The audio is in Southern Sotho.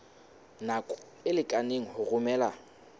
nako e lekaneng ho romela